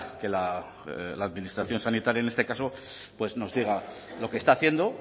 que la administración sanitaria en este caso pus nos diga lo que está haciendo